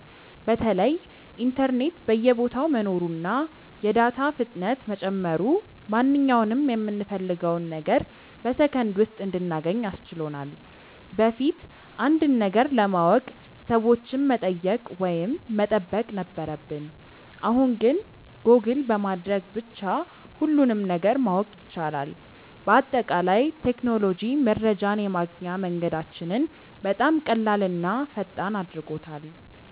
በተለይ ኢንተርኔት በየቦታው መኖሩና የዳታ ፍጥነት መጨመሩ ማንኛውንም የምንፈልገውን ነገር በሰከንድ ውስጥ እንድናገኝ አስችሎናል። በፊት አንድን ነገር ለማወቅ ሰዎችን መጠየቅ ወይም መጠበቅ ነበረብን፣ አሁን ግን ጎግል በማድረግ ብቻ ሁሉንም ነገር ማወቅ ይቻላል። በአጠቃላይ ቴክኖሎጂ መረጃን የማግኛ መንገዳችንን በጣም ቀላልና ፈጣን አድርጎታል።